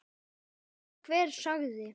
Sama hvað hver segði.